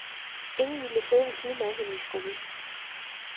Ingen ville sidde ved siden af hende i skolen.